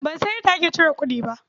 Ban san yadda ake cire kuɗi ba.